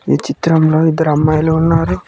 ఈ చిత్రంలో ఇద్దరు అమ్మాయిలు ఉన్నారు.